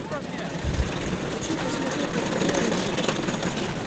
хочу посмотреть на тв рыжий